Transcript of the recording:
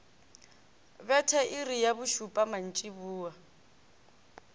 betha iri ya bošupa mantšiboa